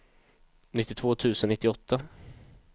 nittiotvå tusen nittioåtta